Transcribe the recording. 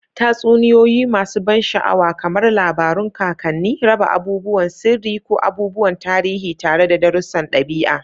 Tatsuniyoyi masu ban sha'awa, kamar labarun kakanni, raba abubuwan sirri ko abubuwan tarihi tare da darussan ɗabi'a.